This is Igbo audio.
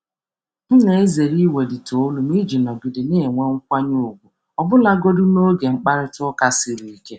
M na-ezere iwelite olu m iji nọgide nọgide na-enwe nkwanye ùgwù ọbụlagodi n’oge mkparịta ụka siri ike.